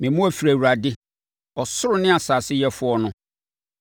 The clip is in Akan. Me mmoa firi Awurade, ɔsoro ne asase yɛfoɔ no.